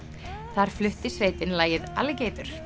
þar flutti sveitin lagið